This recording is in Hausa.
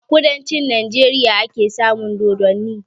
A kudancin Najeriya ake samun dodanni